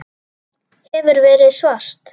Hefur verið svart.